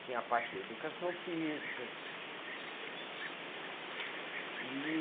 Tinha a parte da educação física. E